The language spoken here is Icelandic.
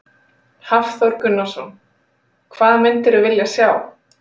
Hafþór Gunnarsson: Hvað mundirðu vilja sjá?